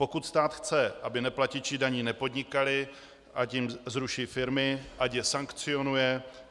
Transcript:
Pokud stát chce, aby neplatiči daní nepodnikali, ať jim zruší firmy, ať je sankcionuje.